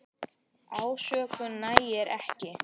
Ásökun nægir ekki.